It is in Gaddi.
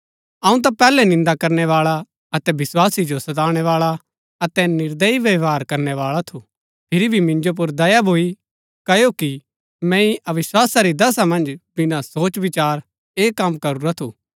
अऊँ ता पैहलै निन्दा करनै बाळा अतै विस्वासी जो सताणै बाळा अतै निर्दयी व्यवहार करनै बाळा थू फिरी भी मिन्जो पुर दया भूई क्ओकि मैंई अविस्वासा री दशा मन्ज बिना सोचविचार ऐह कम करुरा थू